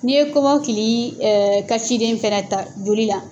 N'i ye kɔmɔkili kasiden fɛnɛ ta joli la.